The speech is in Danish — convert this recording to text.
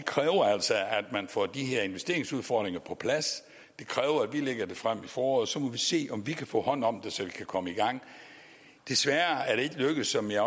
man får de her investeringsudfordringer på plads det kræver at vi lægger det frem i foråret så må vi se om vi kan få hånd om det så vi kan komme i gang desværre er det ikke lykkedes som jeg